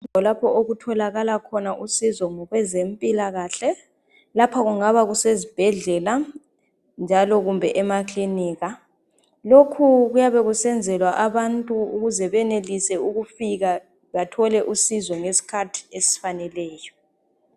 kulapho okutholakala khona usizo ngokwezempilakahle lapha kungaba kusezibhedlela njalo kumbe emakilinika lokhu kuyabe kusenzelwa abantu ukuze benelise ukufika bathole usizo ngesikhathi esifaneleyo